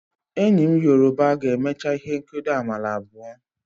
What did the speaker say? Enyi m yoruba ga-emecha ihe nkedo amala abuo.